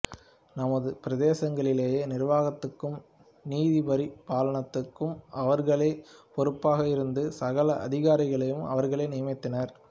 தமது பிரதேசங்களிலே நிர்வாகத்துக்கும் நீதிபரிபாலனத்துக்கும் அவர்களே பொறுப்பாக இருந்து சகல அதிகாரிகளையும் அவர்களே நியமித்தனர்